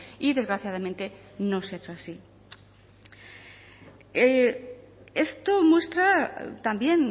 y desgraciadamente no se ha hecho así esto muestra también